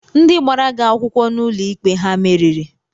Ndị gbara gị akwụkwọ n'uloikpe ha meriri?